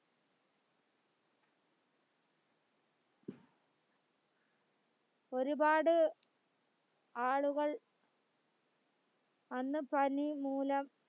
ഒരുപാട് ആളുകൾ അന്ന് പനി മൂലം